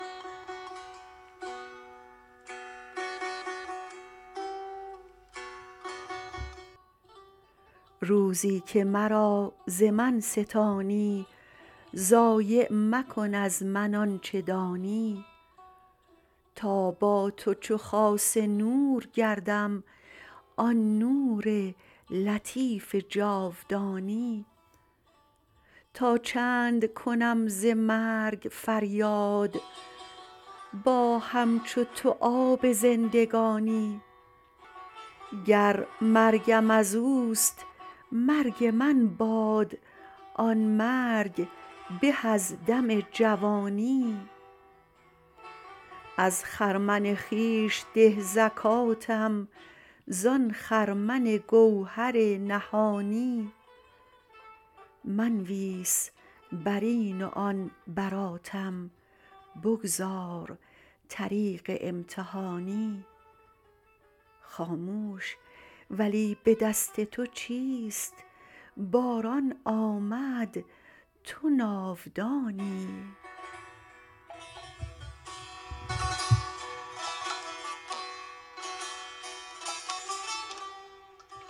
روزی که مرا ز من ستانی ضایع مکن از من آنچ دانی تا با تو چو خاص نور گردم آن نور لطیف جاودانی تا چند کنم ز مرگ فریاد با همچو تو آب زندگانی گر مرگم از او است مرگ من باد آن مرگ به از دم جوانی از خرمن خویش ده زکاتم زان خرمن گوهر نهانی منویس بر این و آن براتم بگذار طریق امتحانی خاموش ولی به دست تو چیست باران آمد تو ناودانی